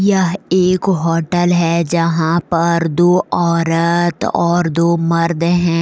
यह एक होटल है जहाँ पर दो औरत और दो मर्द हैं।